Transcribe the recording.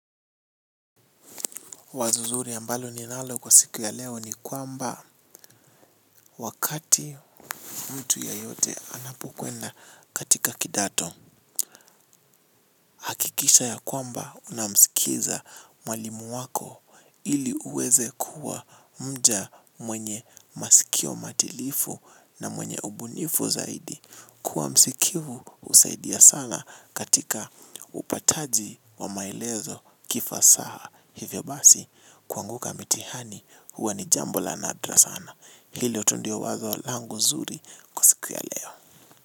Wazo nzuri ambalo ninalo kwa siku ya leo ni kwamba wakati mtu yeyote anapokwenda katika kidato. Kisha ya kwamba unamsikiza mwalimu wako ili uweze kuwa mja mwenye masikio matilifu na mwenye ubunifu zaidi. Kuwa msikivu husaidia sana katika upataji wamaelezo kifasaha hivyo basi kuanguka mitihani huwa ni jambo la nadra sana. Hilo tu ndio wazo langu nzuri kwa siku ya leo.